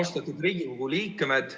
Austatud Riigikogu liikmed!